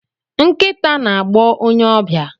Nkita na-agbọ onye ọbịa.